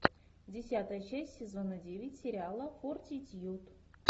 десятая часть сезона девять сериала фортитьюд